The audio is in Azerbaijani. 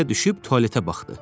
Həyətə düşüb tualetə baxdı.